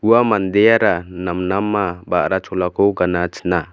ua mandeara namnama ba·ra cholako gana china.